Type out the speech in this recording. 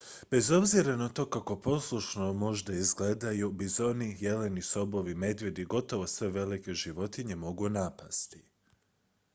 bez obzira na to kako poslušno možda izgledaju bizoni jeleni sobovi medvjedi i gotovo sve velike životinje mogu napasti